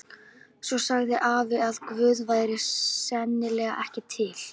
Svo sagði afi að Guð væri sennilega ekki til.